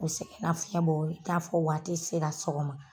U sɛgɛnna fiɲɛ i t'a fɔ waati sera sɔgɔma.